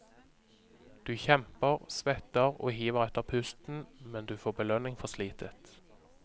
Du kjemper, svetter og hiver etter pusten, men du får belønning for slitet.